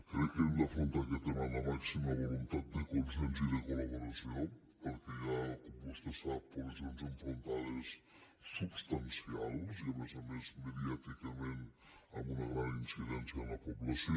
crec que hem d’afrontar aquest tema amb la màxima voluntat de consens i de coltè sap posicions enfrontades substancials i a més a més mediàticament amb una gran incidència en la població